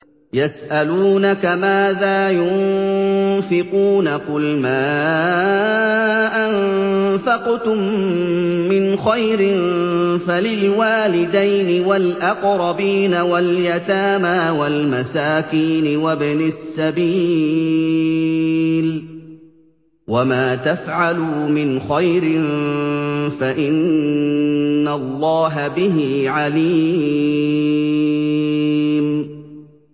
يَسْأَلُونَكَ مَاذَا يُنفِقُونَ ۖ قُلْ مَا أَنفَقْتُم مِّنْ خَيْرٍ فَلِلْوَالِدَيْنِ وَالْأَقْرَبِينَ وَالْيَتَامَىٰ وَالْمَسَاكِينِ وَابْنِ السَّبِيلِ ۗ وَمَا تَفْعَلُوا مِنْ خَيْرٍ فَإِنَّ اللَّهَ بِهِ عَلِيمٌ